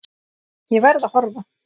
Ég verð að horfa.